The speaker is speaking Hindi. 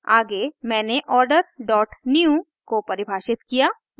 आगे मैंने order डॉट new को परिभाषित किया